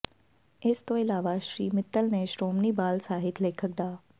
ਇਸ ਤੋਂ ਇਲਾਵਾ ਸ਼੍ਰੀ ਮਿੱਤਲ ਨੇ ਸ਼੍ਰੋਮਣੀ ਬਾਲ ਸਾਹਿਤ ਲੇਖਕ ਡਾ